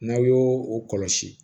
N'aw y'o o kɔlɔsi